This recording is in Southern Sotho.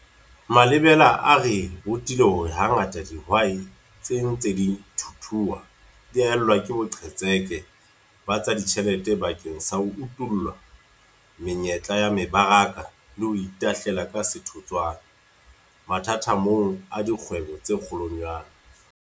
Malebela a re rutile hore hangata dihwai tse ntseng di thuthua di haellwa ke boqhetseke ba tsa ditjhelete bakeng sa ho utolla menyetla ya mebaraka le ho itahlela ka setotswana mathathamong a dikgwebo tse kgolwanyane.